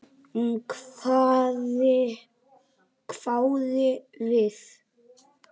Hún hváði við.